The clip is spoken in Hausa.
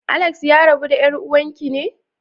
Alex ya rabu da yar'uwan ki ne?